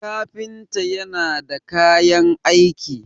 kafinta yana da kayan aiki